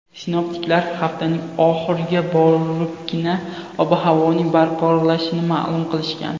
Sinoptiklar haftaning oxiriga boribgina ob-havoning barqarorlashishini ma’lum qilishgan.